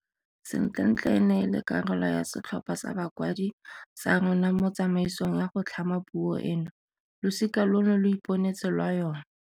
Sentlentle e ne e le karolo ya setlhopha sa bakwadi sa rona mo tsamaisong ya go tlhama puo eno. Losika lono lo iponetse lwa yona.